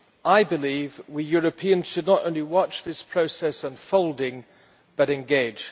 I believe we Europeans should not only watch this process unfolding, but engage.